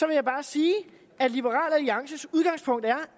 jeg bare sige at liberal alliances udgangspunkt er